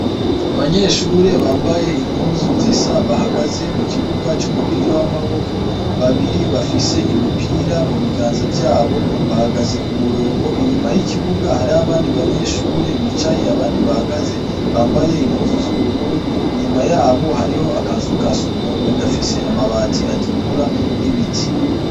Abanyeshure bambaye impuzu zisa, bahagaze mu kibuga c'umupira w'amaboko. Babiri bafise imipira mu biganza vyabo, bahagaze ku murongo. Inyuma y'ikibuga hariyo abandi banyeshure bicaye, abandi bahagaze bambaye impuzu z'ubururu, inyuma yabo hariho akazu ka sugumwe gafise amabati atukura n'ibiti.